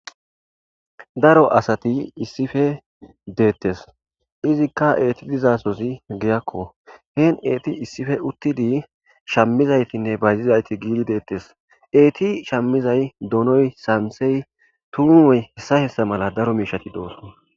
daro asati issife deettes izikka eeti dizasosi giyakko heen eeti issife uttidi shammizaytinne bayzizayti giidi deettes eeti shammizay donoy samsey tuunoy hessa hessa mala daro miishati doos